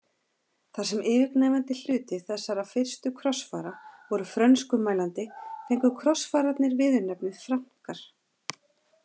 Þar sem yfirgnæfandi hluti þessara fyrstu krossfara voru frönskumælandi fengu krossfararnir viðurnefnið Frankar.